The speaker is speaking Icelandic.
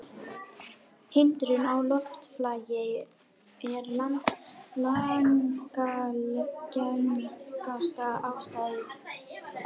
Hindrun á loftflæði er langalgengasta ástæðan.